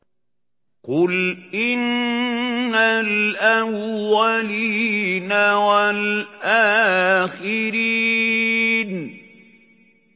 قُلْ إِنَّ الْأَوَّلِينَ وَالْآخِرِينَ